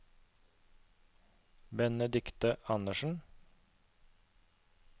Benedikte Andersen